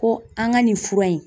Ko an ka nin fura in